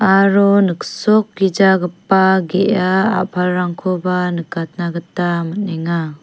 aro niksokgijagipa ge·a a·palrangkoba nikatna gita man·enga.